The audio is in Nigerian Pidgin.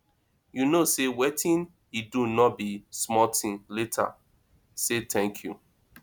you no say wetin he do no be small thing later say thank you